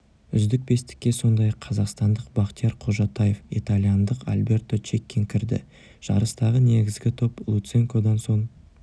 үздік бестікке сондай-ақ қазақстандық бақтияр қожатаев итальяндық альберто чеккин кірді жарыстағы негізгі топ луценкодан соң